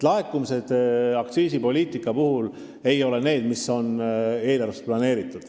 Aktsiisipoliitika laekumised ei olegi eelarvesse planeeritud.